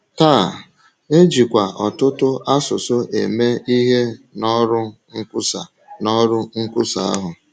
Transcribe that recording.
Taa, e jikwa ọtụtụ asụsụ eme ihe n’ọrụ nkwusa n’ọrụ nkwusa ahụ.